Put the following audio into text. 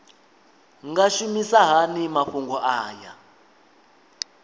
nga shumisa hani mafhumgo aya